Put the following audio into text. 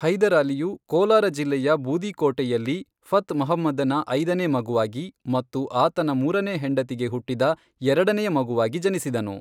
ಹೈದರಾಲಿಯು ಕೋಲಾರ ಜಿಲ್ಲೆಯ ಬೂದಿಕೋಟೆಯಲ್ಲಿ ಫತ್ ಮೊಹಮ್ಮದ್ದನ ಐದನೇ ಮಗುವಾಗಿ ಮತ್ತು ಆತನ ಮೂರನೇ ಹೆಂಡತಿಗೆ ಹುಟ್ಟಿದ ಎರಡನೆಯ ಮಗುವಾಗಿ ಜನಿಸಿದನು.